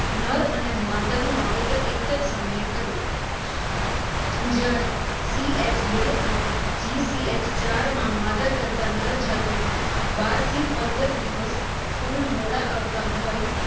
નર અને માદાનું વાવેતર એક જ સમયે કરવું. જ્યારે CH બે અને GCH ચાર માં માદા કરતા નર જાતોમાં બાર થી પંદર દિવસ ફુલ મોડા આવતા હોય,